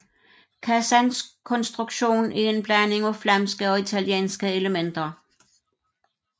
Kassens konstruktion er en blanding af flamske og italienske elementer